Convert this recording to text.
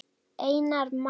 Einar Má.